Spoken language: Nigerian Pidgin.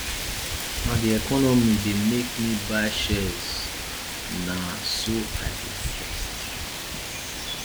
na di economy dey make me buy shares na so i dey invest